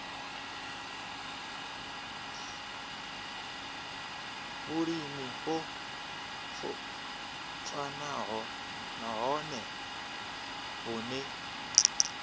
vhulimi o vhofhanaho nahone vhune